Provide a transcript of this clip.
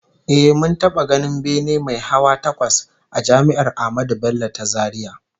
Eh, mun taba ganin bene mai hawa takwas a Jami'ar Ahmadu Bello ta Zaria